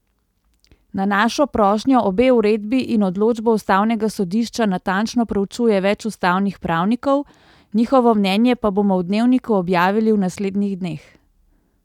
Na našo prošnjo obe uredbi in določbo ustavnega sodišča natančno preučuje več ustavnih pravnikov, njihovo mnenje pa bomo v Dnevniku objavili v naslednjih dneh.